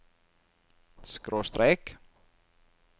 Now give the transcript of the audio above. skråstrek